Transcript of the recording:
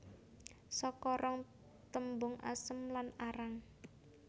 Saka rong tembung asem lan arang